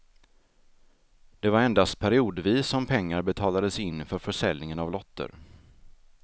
Det var endast periodvis som pengar betalades in för försäljningen av lotter.